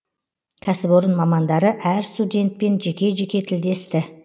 кәсіпорын мамандары әр студентпен жеке жеке тілдесті